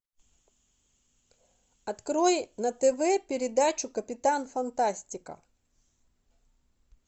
открой на тв передачу капитан фантастика